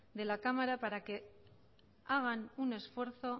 de la cámara para que hagan un esfuerzo